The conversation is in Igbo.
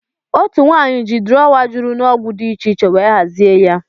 Otu nwanyị ji drọwa juru n'ọgwụ dị iche iche wee hazie ya